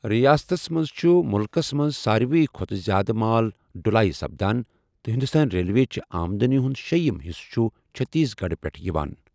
ریاستس منز چُھ مُلکَس منٛز ساروِے کھوتہٕ زیادٕ مال ڈٗلٲیہ سپدان ، تہٕ ہندوستان ریلوےچہِ آمدنی ہُنٛد شیٛیِم حصہٕ چھُ چھتیس گڑھ پٮ۪ٹھ یِوان۔